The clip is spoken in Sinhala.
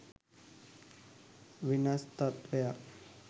වෙනස් තත්ත්වයක්